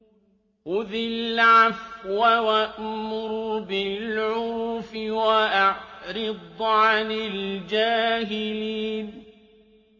خُذِ الْعَفْوَ وَأْمُرْ بِالْعُرْفِ وَأَعْرِضْ عَنِ الْجَاهِلِينَ